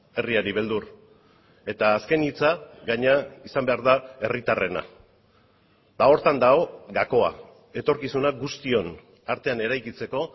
herriari beldur eta azken hitza gainera izan behar da herritarrena eta horretan dago gakoa etorkizuna guztion artean eraikitzeko